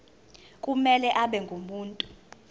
kumele abe ngumuntu